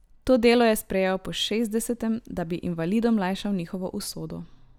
To delo je sprejel po šestdesetem, da bi invalidom lajšal njihovo usodo.